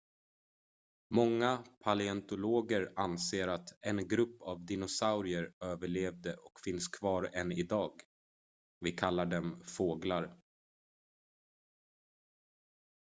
många paleontologer anser att en grupp av dinosaurier överlevde och finns kvar än idag vi kallar dem fåglar